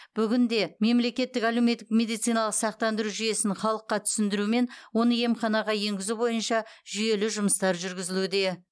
бүгінде мемлекеттік әлеуметтік медициналық сақтандыру жүйесін халыққа түсіндіру мен оны емханаға енгізу бойынша жүйелі жұмыстар жүргізілуде